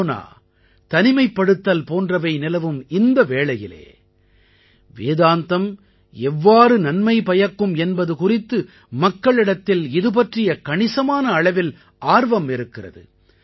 corona தனிமைப்படுத்தல் போன்றவை நிலவும் இந்த வேளையிலே வேதாந்தம் எவ்வாறு நன்மை பயக்கும் என்பது குறித்து மக்களிடத்தில் இதுபற்றிய கணிசமான அளவில் ஆர்வம் இருக்கிறது